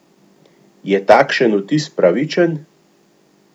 Je takšen vtis pravičen?